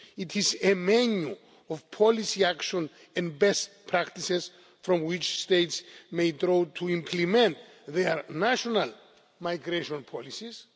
States. It is a menu of policy actions and best practices from which States may draw to implement their national migration policies.